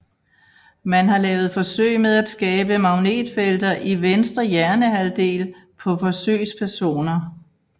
Man har lavet forsøg med at skabe magnetfelter i venstre hjernehalvdel på forsøgspersoner